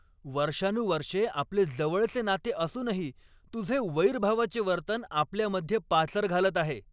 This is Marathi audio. वर्षानुवर्षे आपले जवळचे नाते असूनही तुझे वैरभावाचे वर्तन आपल्यामध्ये पाचर घालत आहे.